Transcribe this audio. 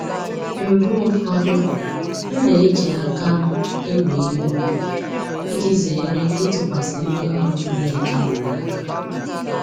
Mgbe ụfọdụ m na-eji aka m ewe ihe ubi iji zere ịtụkwasị ndị ọrụ m na-ejighị n'aka